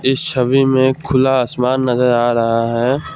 इस छवि में खुला आसमान नजर आ रहा है।